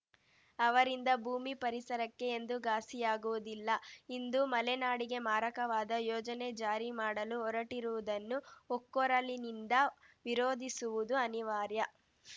ಅವರಿಂದ ಭೂಮಿ ಪರಿಸರಕ್ಕೆ ಎಂದೂ ಘಾಸಿಯಾಗುವುದಿಲ್ಲ ಇಂದು ಮಲೆನಾಡಿಗೆ ಮಾರಕವಾದ ಯೋಜನೆ ಜಾರಿ ಮಾಡಲು ಹೊರಟಿರುವುದನ್ನು ಒಕ್ಕೊರಲಿನಿಂದ ವಿರೋಧಿಸುವುದು ಅನಿವಾರ್ಯ